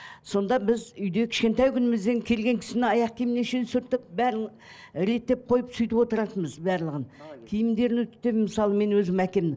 сонда біз үйде кішкентай күнімізден келген кісіні аяқ киіміне шейін сүртіп бәрін реттеп қойып сөйтіп отыратынымыз барлығын киімдерін үтіктеп мысалы мен өзім әкемнің